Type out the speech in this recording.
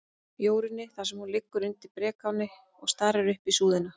Jórunni, þar sem hún liggur undir brekáni og starir upp í súðina.